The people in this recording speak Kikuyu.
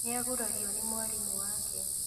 Nĩagurario nĩ mwarimũ wake